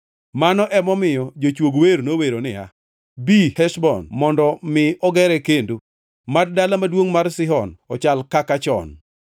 Mano emomiyo jochuog wer nowero niya, “Bi Heshbon mondo mi ogere kendo; mad dala maduongʼ mar Sihon ochal kaka chon.